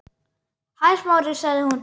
Hæ, Smári- sagði hún.